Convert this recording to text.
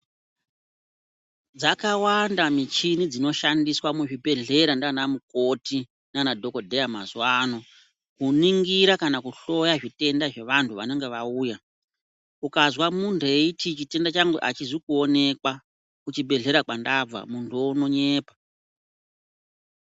Zvakawanda michini dzinoshandiswa muzvibhedhlera nana mukoti nana dhokodheya mazuva ano kuningira kana kuhloya zvitenda zvevantu vanenge vauya ukanzwa muntu eiti chitenda changu achizi kuonekwa kuchibhedhlera kwandabva muntu uwo anonyepa.